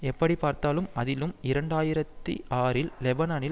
எப்படிப்பார்த்தாலும் அதிலும் இரண்டு ஆயிரத்தி ஆறில் லெபனானில்